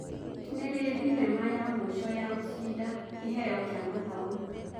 nĩ rĩ thĩnema ya mũĩco ya gũcinda kĩheo kia mathomo